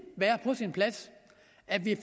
være på sin plads at vi